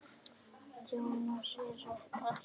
Jónas er ekki lengur við.